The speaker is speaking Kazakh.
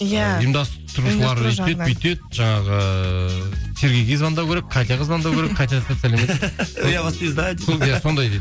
иә жаңағы сергейге звандау керек катяға звондау керек сондай сондай дейді